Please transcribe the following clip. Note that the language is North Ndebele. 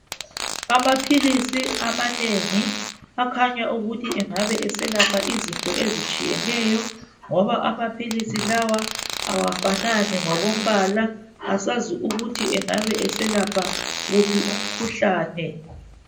Amaphilisi amanengi akhanya ukuthi angabe eselapha izinto ezitshiyeneyo ngoba amaphilisi lawa awafanani ngokombala asazi ukuthi engabe eselapha wuphi umkhuhlane.